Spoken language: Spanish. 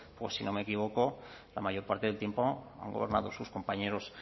o si no me equivoco la mayor parte del tiempo han gobernado sus compañeros